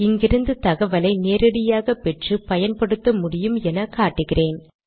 இங்கிருந்து தகவலை நேரடியாக பெற்று பயன்படுத்த முடியும் என காட்டுகிறேன்